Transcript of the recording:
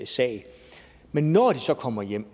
sag men når de så kommer hjem